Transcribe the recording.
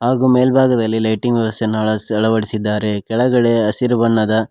ಹಾಗೂ ಮೇಲ್ಭಾಗದಲ್ಲಿ ಲೈಟಿಂಗ್ ವ್ಯವಸ್ಥೆಯನ್ನು ಅಳ ಅಳವಡಿಸಿದ್ದಾರೆ ಕೆಳಗಡೆ ಹಸಿರು ಬಣ್ಣದ--